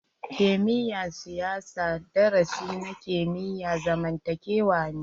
Kimiyya na siyasa darasi na kimiyyan zamantakewa ne.